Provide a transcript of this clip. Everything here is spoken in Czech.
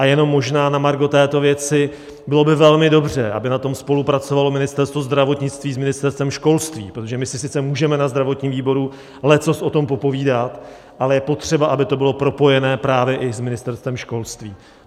A jenom možná na margo této věci: bylo by velmi dobře, kdyby na tom spolupracovalo Ministerstvo zdravotnictví s Ministerstvem školství, protože my si sice můžeme na zdravotním výboru leccos o tom popovídat, ale je potřeba, aby to bylo propojené právě i s Ministerstvem školství.